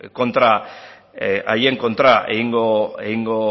haien kontra egingo